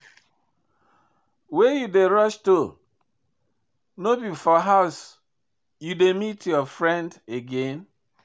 Where you dey rush to? No be for house you dey meet your friend again?